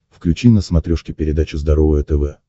включи на смотрешке передачу здоровое тв